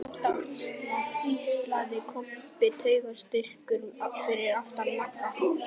Gott áttu HRÍSLA, hvíslaði Kobbi taugaóstyrkur fyrir aftan Magga.